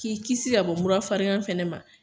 K'i kisi ka bɔ murafarigan fana ma.